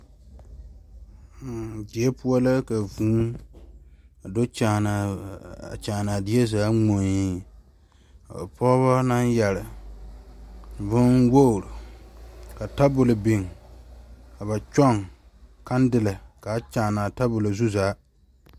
Mmm die poɔ la ka vūū do kyaane die zaa ŋmore o pɔgeba naŋ yeere bonwogre ka tabol biŋ ka ba kyoŋ kandelɛ kaa kyaana tabol zu zaa.